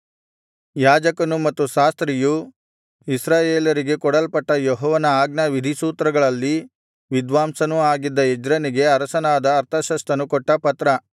ಯಾಜಕನು ಮತ್ತು ಶಾಸ್ತ್ರಿಯೂ ಇಸ್ರಾಯೇಲರಿಗಾಗಿ ಕೊಡಲ್ಪಟ್ಟ ಯೆಹೋವನ ಆಜ್ಞಾವಿಧಿಸೂತ್ರಗಳಲ್ಲಿ ವಿದ್ವಾಂಸನೂ ಆಗಿದ್ದ ಎಜ್ರನಿಗೆ ಅರಸನಾದ ಅರ್ತಷಸ್ತನು ಕೊಟ್ಟ ಪತ್ರ